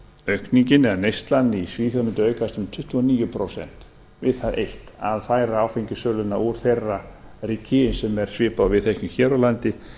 aukningin eða neyslan í svíþjóð mundi aukast um tuttugu og níu prósent við það eitt að færa áfengissöluna úr þeirra ríki sem er svipað og við þekkjum hér á landi